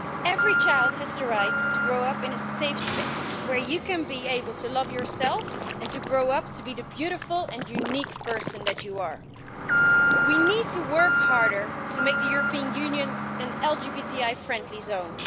Every child has tthe right to grow up in a safe space, where you can be able to love yourself and to grow up to be the beautiful and unique person that you are. We need to work harder to make the European Union an LGBTI friendly zone.